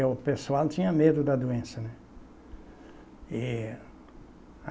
E o pessoal tinha medo da doença, né? E